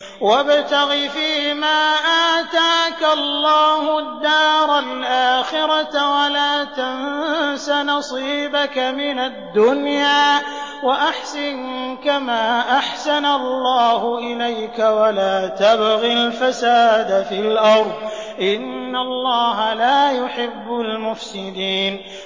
وَابْتَغِ فِيمَا آتَاكَ اللَّهُ الدَّارَ الْآخِرَةَ ۖ وَلَا تَنسَ نَصِيبَكَ مِنَ الدُّنْيَا ۖ وَأَحْسِن كَمَا أَحْسَنَ اللَّهُ إِلَيْكَ ۖ وَلَا تَبْغِ الْفَسَادَ فِي الْأَرْضِ ۖ إِنَّ اللَّهَ لَا يُحِبُّ الْمُفْسِدِينَ